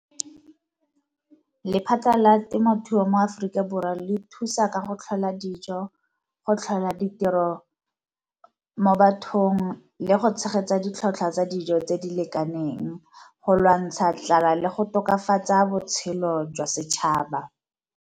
Lephata la temothuo mo Aforika Borwa le thusa ka go tlhola dijo, go tlhola ditiro mo bathong, le go tshegetsa ditlhwatlhwa tsa dijo tse di lekaneng go lwantsha tlala le go tokafatsa botshelo jwa setšhaba.